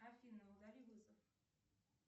афина удали вызов